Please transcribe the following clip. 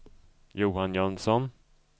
Johan Jönsson